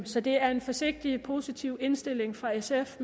så det er en forsigtig positiv indstilling fra sf